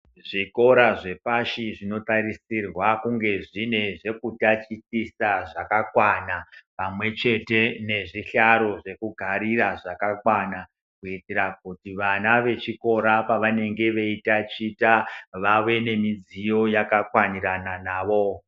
Zvikora zvepashi zvinotarisirwa kunge zvine zvekutatichisa zvakakwana pamwe chete nezvihlaro zvekugarira zvakakwana, kuitira kuti vana vechikora pavanenge veitaticha vave nemidziyo yakakwanirana navo.